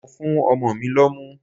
Mo fún ọmọ mi lọ́mú.